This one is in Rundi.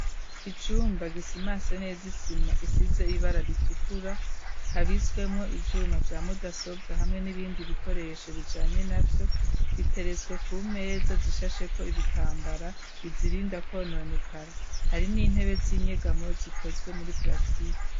Icumba gisimanse neza isima isize ibara ritukura habitswemwo ivyuma vya mudasobwa hamwe n'ibindi bikoresho bijanye navyo biteretswe ku meza zishasheko ibitambara bizirinda kononekara hari n'intebe z'inyegamo zikozwe muri plastike.